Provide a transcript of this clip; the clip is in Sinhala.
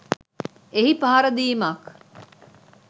එහි පහර දීමක්